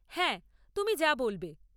হ্যাঁ, তুমি যা বলবে।